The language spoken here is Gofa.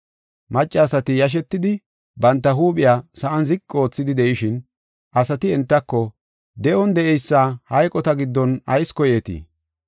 Maccasati yashetidi banta huuphiya sa7an ziqi oothidi de7ishin, asati entako, “De7on de7eysa hayqota giddon ayis koyeetii?